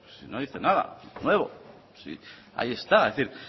no dice nada nuevo ahí está